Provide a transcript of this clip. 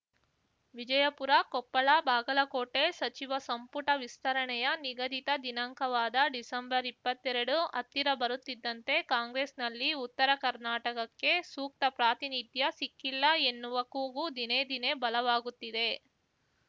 ವಿಜಯಪುರಕೊಪ್ಪಳಬಾಗಲಕೋಟೆ ಸಚಿವ ಸಂಪುಟ ವಿಸ್ತರಣೆಯ ನಿಗದಿತ ದಿನಾಂಕವಾದ ಡಿಸೆಂಬರ್ಇಪ್ಪತ್ತೆರಡು ಹತ್ತಿರ ಬರುತ್ತಿದ್ದಂತೆ ಕಾಂಗ್ರೆಸ್‌ನಲ್ಲಿ ಉತ್ತರ ಕರ್ನಾಟಕಕ್ಕೆ ಸೂಕ್ತ ಪ್ರಾತಿನಿಧ್ಯ ಸಿಕ್ಕಿಲ್ಲ ಎನ್ನುವ ಕೂಗು ದಿನೇ ದಿನೇ ಬಲವಾಗುತ್ತಿದೆ